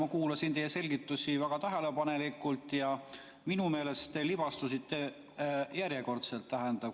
Ma kuulasin teie selgitusi väga tähelepanelikult ja minu meelest te järjekordselt libastusite.